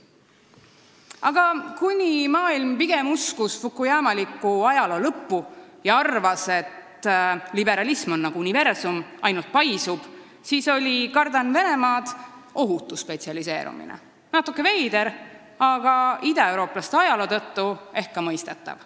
Aga kuni maailm pigem uskus fukuyamalikku ajaloo lõppu ja arvas, et liberalism on nagu universum, ainult et paisuv, oli see "Kardan Venemaad" ohutu spetsialiseerumine – natuke veider, aga idaeurooplaste ajaloo tõttu ehk mõistetav.